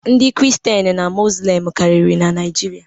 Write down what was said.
Ndị kristian na izlam karịrị na Naijiria